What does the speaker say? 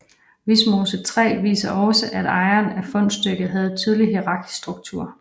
Vimose 3 viser også at ejeren af fundstykket havde en tydelig hierarkisk struktur